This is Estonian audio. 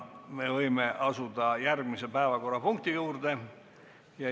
Me võime asuda järgmise päevakorrapunkti juurde.